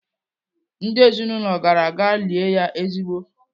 Ndị ezinaụlọ gara gaa lie ya ezigbo.